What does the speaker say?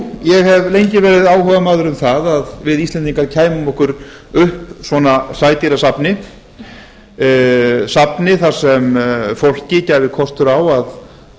ég hef lengi verið áhugamaður um það að við íslendingar kæmum okkur upp svona sædýrasafni safni þar sem fólki gæfist kostur á að